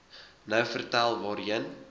nou vertel waarheen